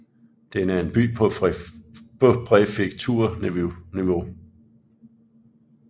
Den er en by på præfekturniveau